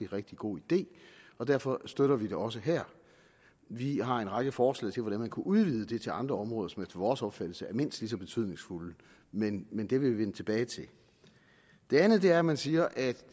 rigtig god idé og derfor støtter vi det også vi har en række forslag til hvordan man kunne udvide det til andre områder som efter vores opfattelse er mindst lige så betydningsfulde men men det vil vi vende tilbage til det andet er at man siger at